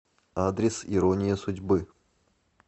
адрес ирония судьбы